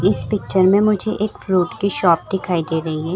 इस पिक्चर में मुझे एक फ्रूट की शॉप दिखाई दे रही है ।